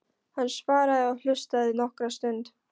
Hann svaraði og hlustaði nokkra stund.